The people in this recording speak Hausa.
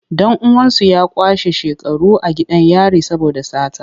Dan uwansu ya kwashe shekaru a gidan yari saboda sata.